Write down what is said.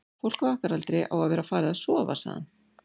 fólk á okkar aldri á að vera farið að sofa, sagði hann.